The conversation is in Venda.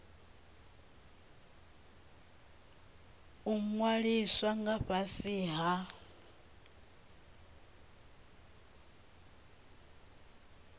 u ṅwaliswa nga fhasi ha